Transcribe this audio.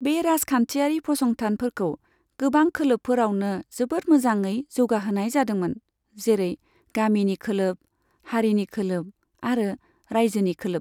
बे राजखान्थियारि फसंथानफोरखौ गोबां खोलोबफोरावनो जोबोद मोजाड़ै जौगाहोनाय जादोंमोन, जेरै गामिनि खोलोब, हारिनि खोलोब आरो रायजोनि खोलोब।